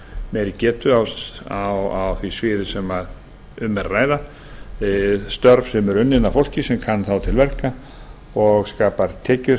meiri getu á því sviði sem um er að ræða störf sem þá eru unnin af fólki sem kann til verka og skapar tekjur